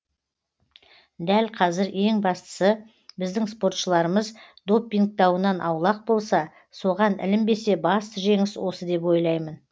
дәл қазір ең бастысы біздің спортшыларымыз доппинг дауынан аулақ болса соған ілінбесе басты жеңіс осы деп ойлаймын